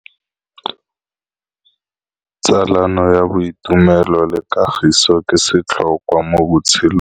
Tsalano ya boitumelo le kagiso ke setlhôkwa mo botshelong.